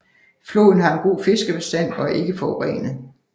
Floden har en god fiskebestand og er ikke forurenet